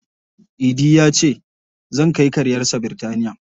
Idi ya ce, "Zan kai karyarsa Bitinariya".